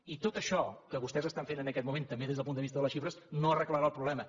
i tot això que vostès estan fent en aquest moment també des del punt de vista de les xifres no arreglarà el problema